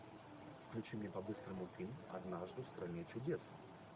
включи мне по быстрому фильм однажды в стране чудес